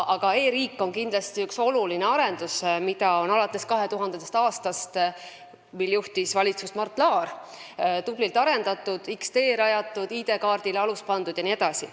Aga e-riik on kindlasti üks oluline asi, mida on alates 2000. aastast, mil valitsust juhtis Mart Laar, tublilt arendatud: rajatud on X-tee, pandud alus ID-kaardile jne.